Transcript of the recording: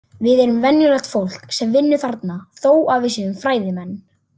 Við erum venjulegt fólk sem vinnum þarna þó að við séum fræðimenn.